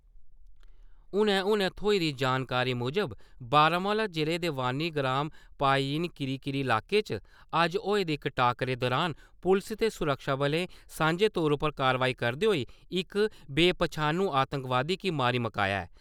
हुनै हुनै होई दी जानकारी मुजब, बारामूला जि'ले दे वानीगाम पायीन करीरी इलाके च अज्ज होए दे इक टाक्करे दुरान पुलस ते सुरक्षाबलें सांझे तौर उप्पर कार्रवाई करदे होई इक बे पन्छानू आतंकवादी गी मारी मुकाया ऐ।